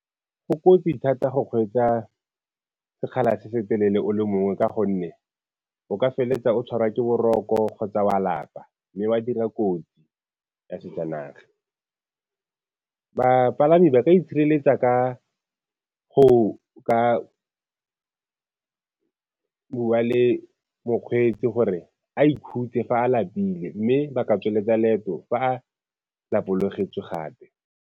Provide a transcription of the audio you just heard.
Go kotsi thata go kgweetsa sekgala se se telele o le mongwe ka gonne o ka feleletsa o tshwarwa ke boroko kgotsa wa lapa mme wa dira kotsi ya sejanaga. Bapalami ba ka itshireletsa ka go ka bua le mokgweetsi gore a ikhutse fa a lapile, mme ba ka tsweletsa leeto fa a lapologetswe gape.